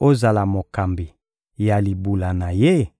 ozala mokambi ya libula na Ye?